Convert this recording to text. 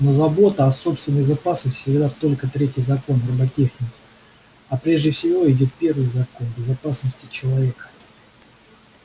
но забота о собственной безопасности всего только третий закон роботехники а прежде всего идёт первый закон безопасности человека